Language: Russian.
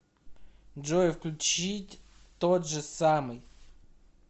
джой включить тот же самый